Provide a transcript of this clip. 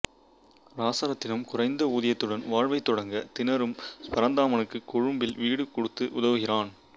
இராசரத்தினம் குறைந்த ஊதியத்துடன் வாழ்வை தொடங்க திணறும் பரந்தாமனுக்கு கொழும்பில் வீடு கொடுத்து உதவுகிறான்